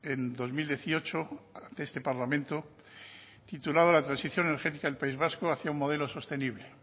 en dos mil dieciocho ante este parlamento titulado la transición energética del país vaco hacia un modelo sostenible